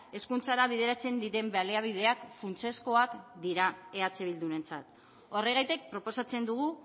hezkuntzara bideratzen diren baliabideak funtsezkoak dira eh bildurentzat horregatik proposatzen dugu